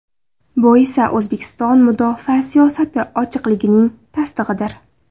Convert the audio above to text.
Bu esa O‘zbekiston mudofaa siyosati ochiqligining tasdig‘idir.